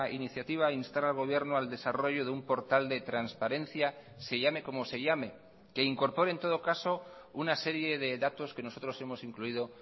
iniciativa instar al gobierno al desarrollo de un portal de transparencia se llame como se llame que incorpore en todo caso una serie de datos que nosotros hemos incluido